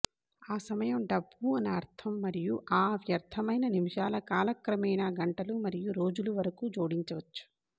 ఆ సమయం డబ్బు అని అర్థం మరియు ఆ వ్యర్థమైన నిమిషాల కాలక్రమేణా గంటలు మరియు రోజులు వరకు జోడించవచ్చు